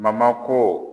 ko